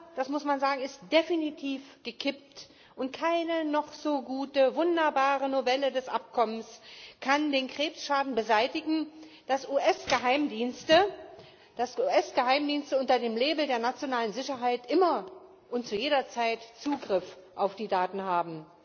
das muss man sagen, ist definitiv gekippt, und keine noch so gute wunderbare Novelle des Abkommens kann den Krebsschaden beseitigen, dass US Geheimdienste unter dem Label der nationalen Sicherheit immer und zu jeder Zeit Zugriff auf die Daten haben.